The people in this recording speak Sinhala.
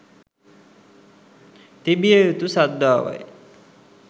තිබිය යුතු ශ්‍රද්ධාවයි.